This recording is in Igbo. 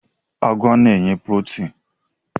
Agwa na-enye protin.